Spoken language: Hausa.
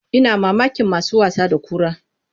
Ina mamakin masu wasa da kura.